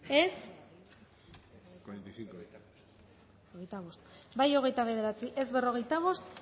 dezakegu bozketaren emaitza onako izan da hirurogeita hamalau eman dugu bozka hogeita bederatzi boto aldekoa cuarenta y cinco contra